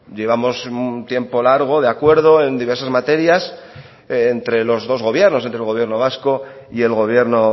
llevamos un tiempo largo de acuerdo en diversas materias entre los dos gobiernos entre el gobierno vasco y el gobierno